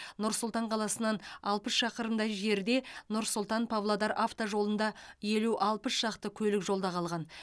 нұр сұлтан қаласынан алпыс шақырымдай жерде нұр сұлтан павлодар автожолында елу алпыс шақты көлік жолда қалған